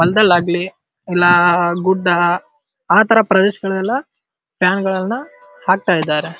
ಹೊಲದಲ್ಲಾಗಲಿ ಇಲ್ಲ ಗುಡ್ಡ ಆ ಪ್ರದೇಶಗಳು ಎಲ್ಲ ಫ್ಯಾನ್ಗಳನ್ನು ಹಾಕ್ತಾ ಇದ್ದಾರೆ.